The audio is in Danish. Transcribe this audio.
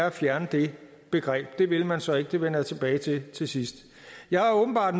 at fjerne det begreb det vil man så ikke det vender jeg tilbage til til sidst jeg er åbenbart